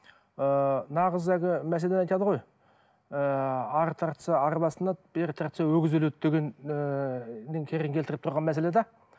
ыыы нағыз әлгі мәселені айтады ғой ыыы ары тартса арба сынады бері тартса өгіз өледі деген ііі не керін келітіріп тұрған мәселе де